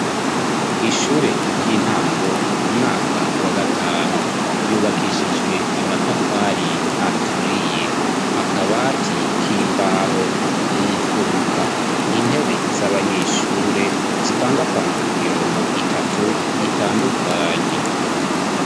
ishure ry'intango umwaka wa gatanu yubakishijwe amatafari aturiye akabati k'imbaho mu mfuruka intebe z'abanyeshure zipangapanzwe ku mirongo itatu itandukanye